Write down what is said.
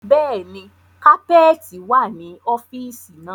Bẹ́ẹ̀ni, kapẹ́ẹ́tì wá ní ọ́fíìsì náà.